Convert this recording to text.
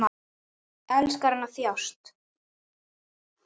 Elskar hann að þjást?